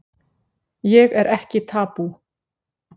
Ég er ekki tabú